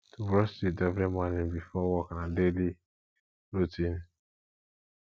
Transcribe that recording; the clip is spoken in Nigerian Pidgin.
to brush teeth every morning before work na daily routine